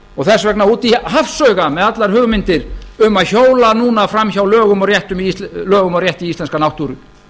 fyrr þess vegna út í hafsauga með allar hugmyndir um að hjóla núna fram hjá lögum og rétti í íslenska náttúru